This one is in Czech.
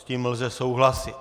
S tím lze souhlasit.